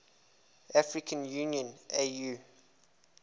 african union au